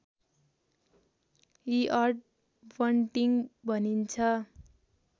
eared bunting भनिन्छ